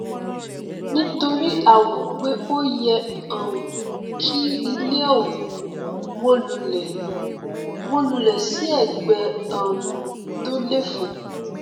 nítorí a wòó pé o yẹ um kí ilé ọhún wó lulẹ wó lulẹ sí ẹgbẹ um tó léfò